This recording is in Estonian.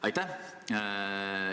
Aitäh!